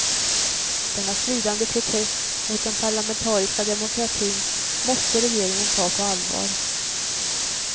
Denna svidande protest mot den parlamentariska demokratin måste regeringen ta på allvar.